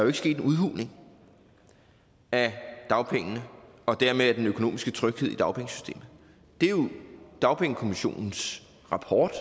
er sket en udhuling af dagpengene og dermed af den økonomiske tryghed i dagpengesystemet det er jo i dagpengekommissionens rapport